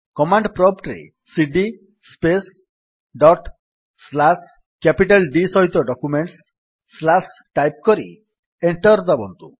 command prompt ରେ cd space dot slash documents capital D slash type କରି enter ଦାବନ୍ତୁ